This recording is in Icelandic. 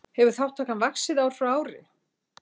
Hefur þátttakan vaxið ár frá ári